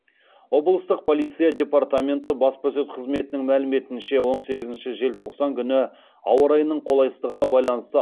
облыстық полиция департаменті баспасөз қызметінің мәліметінше он сегізінші желтоқсан күні ауа райының қолайсыздығына байланысты